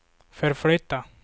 förflytta